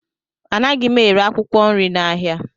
Anaghị m ere akwụkwọ nri n'ahịa.